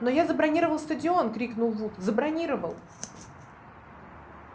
но я забронировал стадион крикнул вуд забронировал